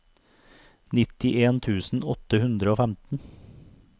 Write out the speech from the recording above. nittien tusen åtte hundre og femten